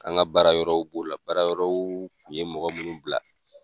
An ka baara yɔrɔw b'o la baara yɔrɔw kun ye mɔgɔ munnu bila.